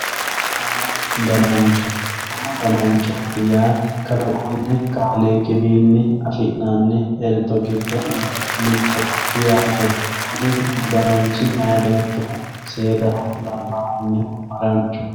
Umu danancho umu dananchoti yaa kalaquni kaaliqi wiini afinani elto giddo mittoho yaate kuni umu dananchi mayi beetohu seedaho labahunihu haranchoho.